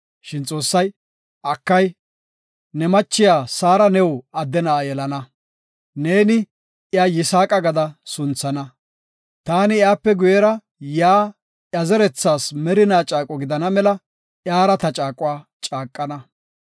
Shin Xoossay, “Akay, ne machiya Saara new adde na7a yelana, neeni iya Yisaaqa gada sunthana. Taani iyape guyera yaa iya zerethas merina caaqo gidana mela iyara ta caaquwa caaqana.